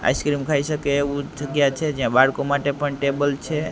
Ice cream ખાઇ સકે એવુ જગ્યા છે જ્યાં બાળકો માટે પણ ટેબલ છે.